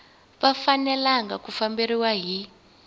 va fanelanga ku famberiwa hi